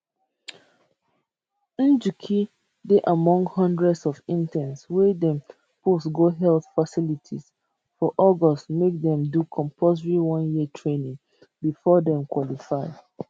njuki dey among hundreds of interns wey dem post go health facilities for august make dem do compulsory one year training bifor dem qualify